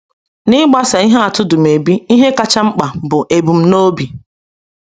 N’ịgbaso ihe atụ Dumebi, ihe kacha mkpa bụ ebumnobi.